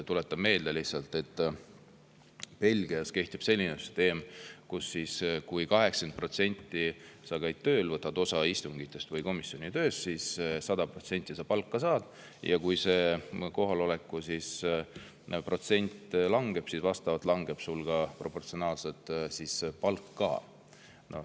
Tuletan meelde, et näiteks Belgias kehtib selline süsteem, et kui sa 80% käid tööl, võtad osa istungitest või komisjoni tööst, siis saad 100% palka, ja kui kohaloleku protsent langeb, siis proportsionaalselt langeb ka palk.